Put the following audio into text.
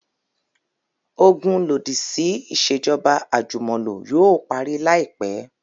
Ogun lodisi iṣejọba ajumọlo yoo pari laipẹ